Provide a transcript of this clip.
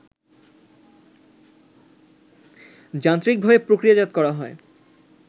যান্ত্রিকভাবে প্রক্রিয়াজাত করা হয়